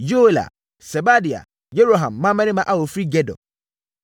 Yoela, Sebadia, Yeroham mmammarima a wɔfiri Gedor.